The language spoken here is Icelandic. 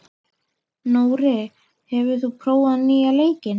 Nóri, hefur þú prófað nýja leikinn?